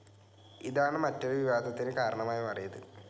ഇതാണ് മറ്റൊരു വിവാദത്തിന് കാരണമായി മാറിയത്.